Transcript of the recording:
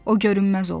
O görünməz oldu.